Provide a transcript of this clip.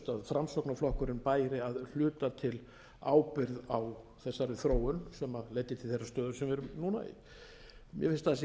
framsóknarflokkurinn bæri að hluta til ábyrgð á þessari þróun sem leiddi til þeirrar stöðu sem við erum núna í mér finnst að það sé